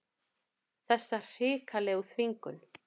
Þessa hrikalegu þvingun.